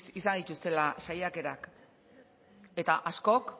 izan dituztela saiakerak eta askok